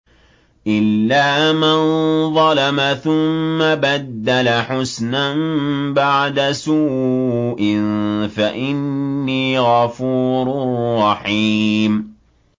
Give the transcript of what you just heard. إِلَّا مَن ظَلَمَ ثُمَّ بَدَّلَ حُسْنًا بَعْدَ سُوءٍ فَإِنِّي غَفُورٌ رَّحِيمٌ